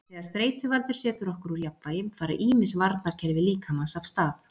þegar streituvaldur setur okkur úr jafnvægi fara ýmis varnarkerfi líkamans af stað